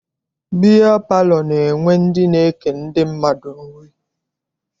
Biya palọ na-enwe ndị na-eke ndị mmadụ nri.